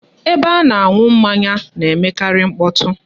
Ebe a na-aṅụ mmanya na-emekarị mkpọtụ